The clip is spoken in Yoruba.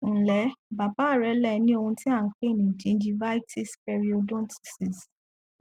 ǹlẹ bàbá rẹ le ní ohun tí à ń pè ní gingivitisperiodontitis